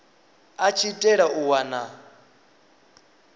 a tshi itela u wana